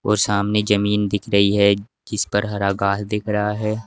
और सामने जमीन दिख रही है जिस पर हरा घास दिख रहा है।